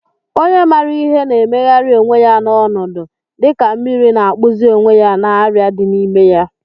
Onye maara ihe na-emegharị onwe ya n'ọnọdụ, dịka mmiri na-akpụzi onwe ya na arịa dị n'ime ya.